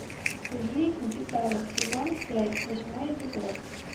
жизнь в деталях сезон пять восьмой эпизод